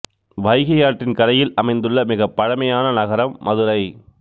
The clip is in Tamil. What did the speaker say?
வைகை ஆற்றின் கரையில் அமைந்துள்ள மிகப் பழமையான நகரம் மதுரை